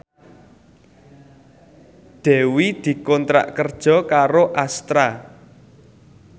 Dewi dikontrak kerja karo Astra